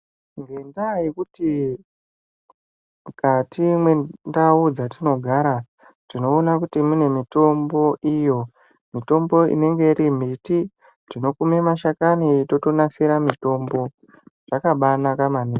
Ngenda yekuti mukati mwendau dzatinogara tinoona kuti mune mitombo iyo, mitombo inenge iri miti tinokuma mahakani totonasire mutombo zvakabanake maningi.